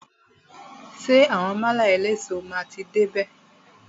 Ṣé àwọn málà eléso máa ti dé bè?